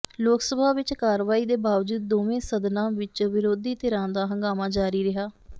ਲੋਕ ਸਭਾ ਵਿਚ ਕਾਰਵਾਈ ਦੇ ਬਾਵਜੂਦ ਦੋਵੇਂ ਸਦਨਾਂ ਵਿਚ ਵਿਰੋਧੀ ਧਿਰਾਂ ਦਾ ਹੰਗਾਮਾ ਜਾਰੀ ਰਿਹਾ